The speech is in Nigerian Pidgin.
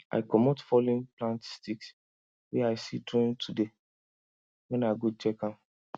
i comot fallen plant sticks wey i see during today when i go check am